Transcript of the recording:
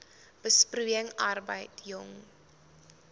besproeiing arbeid jong